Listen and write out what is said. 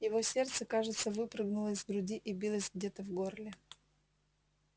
его сердце кажется выпрыгнуло из груди и билось где-то в горле